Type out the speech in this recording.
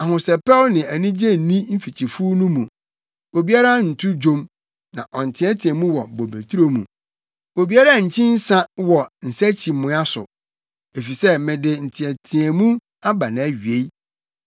Ahosɛpɛw ne anigye nni mfikyifuw no mu; obiara nto dwom, na ɔnteɛteɛ mu wɔ bobeturo mu; obiara nkyi nsa wɔ nsakyiamoa so, efisɛ mede nteɛteɛmu aba nʼawiei.